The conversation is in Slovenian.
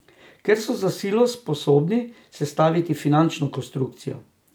Ker so za silo sposobni sestaviti finančno konstrukcijo.